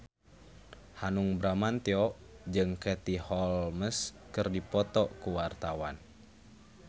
Hanung Bramantyo jeung Katie Holmes keur dipoto ku wartawan